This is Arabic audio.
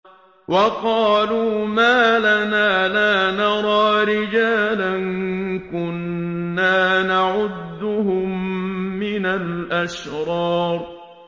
وَقَالُوا مَا لَنَا لَا نَرَىٰ رِجَالًا كُنَّا نَعُدُّهُم مِّنَ الْأَشْرَارِ